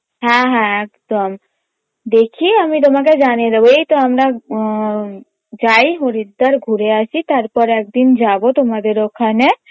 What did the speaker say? হ্যাঁ হ্যাঁ একদম দেখি আমি তোমাকে জানিয়ে দেবো এইতো আমরা ম যাই হরিদ্বার ঘুরে আসি তারপর একদিন যাবো তোমাদের ওখানে